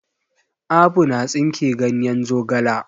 Abu na tsinke ganyen zogala.